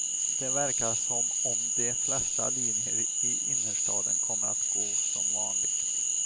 Det verkar som om de flesta linjer i innerstaden kommer att gå som vanligt.